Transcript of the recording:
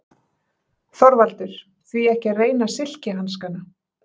ÞORVALDUR: Því ekki að reyna silkihanskana.